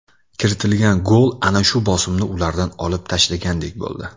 Kiritilgan gol ana shu bosimni ulardan olib tashlagandek bo‘ldi.